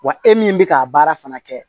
Wa e min bɛ k'a baara fana kɛ